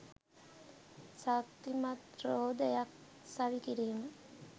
ශක්තිමත් රෝදයක් සවිකිරීම